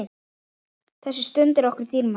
Þessi stund var okkur dýrmæt.